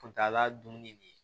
Kuntaala dunni